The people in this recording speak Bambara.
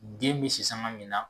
Den bɛ sisanga min na